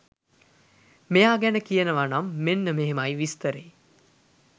මෙයා ගැන කියනවනම් මෙන්න මෙහෙමයි විස්තරේ.